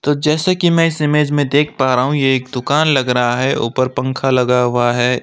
तो जैसा की मैं इस इमेज में देख पा रहा हूं ये एक दुकान लग रहा है ऊपर पंखा लगा हुआ है।